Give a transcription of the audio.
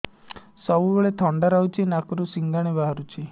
ସବୁବେଳେ ଥଣ୍ଡା ରହୁଛି ନାକରୁ ସିଙ୍ଗାଣି ବାହାରୁଚି